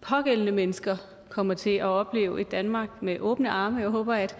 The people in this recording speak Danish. pågældende mennesker kommer til at opleve et danmark med åbne arme jeg håber at